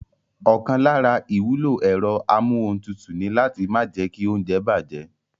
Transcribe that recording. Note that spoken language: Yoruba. Ọ̀kan lára ìwúlò ẹ̀rọ amúohuntutù ni láti má jẹ́kí óúnjẹ bàjẹ́